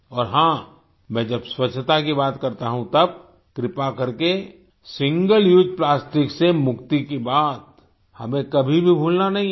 और हाँ मैं जब स्वच्छता की बात करता हूँ तब कृपा कर के सिंगल उसे प्लास्टिक से मुक्ति की बात हमें कभी भी भूलना नहीं है